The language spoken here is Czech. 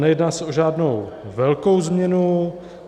Nejedná se o žádnou velkou změnu.